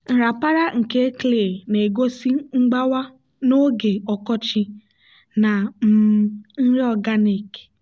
nrapara nke clay na-egosi mgbawa n'oge ọkọchị na um nri organic.